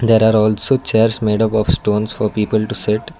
there are also chairs made up of stones for people to sit.